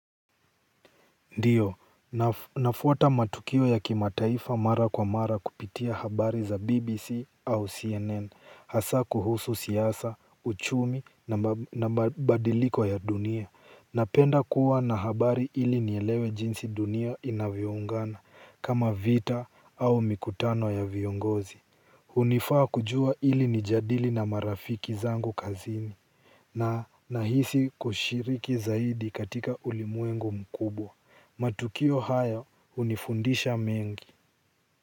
Ndiyo nafuata matukio ya kimataifa mara kwa mara kupitia habari za BBC au CNN hasa kuhusu siasa, uchumi na mabadiliko ya dunia. Napenda kuwa na habari ili nielewe jinsi dunia inavyoungana kama vita au mikutano ya viongozi. Hunifaa kujua ili nijadili na marafiki zangu kazini na nahisi kushiriki zaidi katika ulimwengu mkubwa. Matukio hayo hunifundisha mengi.